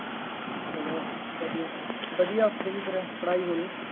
ਚੱਲੋ ਵਧੀਆ, ਵਧੀਆ ਉੱਥੇ ਵੀ ਫੇਰ ਪੜ੍ਹਾਈ ਹੋਣੀ